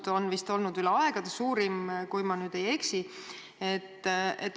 See on praegu vist üle aegade suurim, kui ma ei eksi.